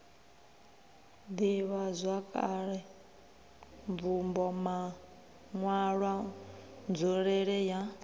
ḓivhazwakale mvumbo maṋwalwa nzulele ya